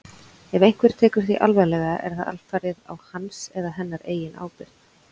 Ef einhver tekur því alvarlega er það alfarið á hans eða hennar eigin ábyrgð.